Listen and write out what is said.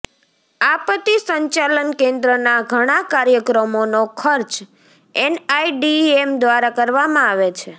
આપત્તિ સંચાલન કેન્દ્રના ઘણા કાર્યક્રમોનો ખર્ચ એનઆઈડીએમ દ્વારા કરવામાં આવે છે